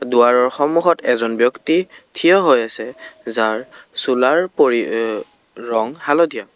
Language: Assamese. দুৱাৰৰ সন্মুখত এজন ব্যক্তি থিয় হৈ আছে যাৰ চোলাৰ পৰি অঃ ৰং হালধীয়া।